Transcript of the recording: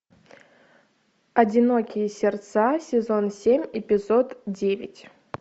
одинокие сердца сезон семь эпизод девять